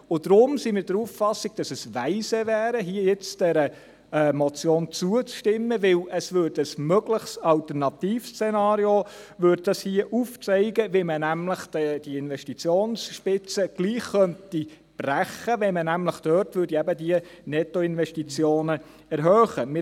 Und deswegen sind wir der Auffassung, dass es weise wäre, jetzt dieser Motion hier zuzustimmen, weil sie ein mögliches Alternativszenario aufzeigt, nämlich, wie man diese Investitionsspitze trotzdem brechen könnte, wenn man diese Nettoinvestitionen dort erhöhen würde.